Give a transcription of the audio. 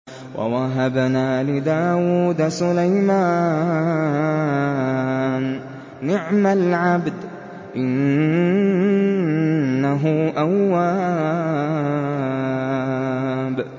وَوَهَبْنَا لِدَاوُودَ سُلَيْمَانَ ۚ نِعْمَ الْعَبْدُ ۖ إِنَّهُ أَوَّابٌ